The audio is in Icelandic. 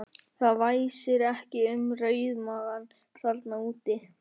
Það væsir ekki um rauðmagann þarna úti!